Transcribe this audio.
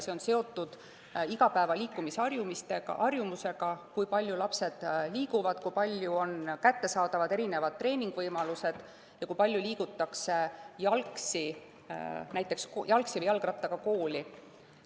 See on seotud igapäeva liikumisharjumusega, sellega, kui palju lapsed liiguvad, kui kättesaadavad on treeninguvõimalused ja kui palju liigutakse jalgsi või jalgrattaga näiteks kooli.